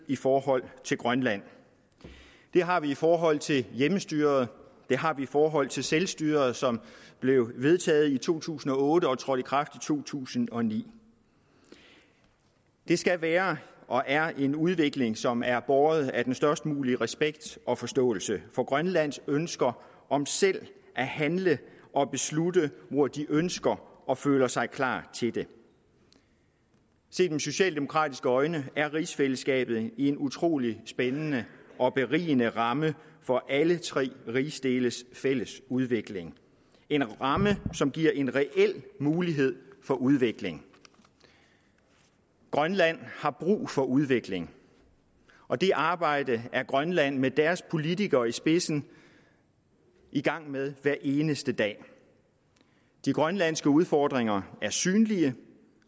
i forhold til grønland det har vi i forhold til hjemmestyret det har vi i forhold til selvstyret som blev vedtaget i to tusind og otte og trådte i kraft to tusind og ni det skal være og er en udvikling som er båret af den størst mulige respekt og forståelse for grønlands ønsker om selv at handle og beslutte hvor de ønsker og føler sig klar til det set med socialdemokratiske øjne er rigsfællesskabet en utrolig spændende og berigende ramme for alle tre rigsdeles fælles udvikling en ramme som giver en reel mulighed for udvikling grønland har brug for udvikling og det arbejde er grønland med deres politikere i spidsen i gang med hver eneste dag de grønlandske udfordringer er synlige